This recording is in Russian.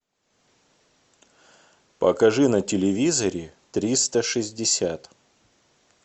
покажи на телевизоре триста шестьдесят